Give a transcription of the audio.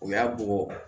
U y'a bugɔ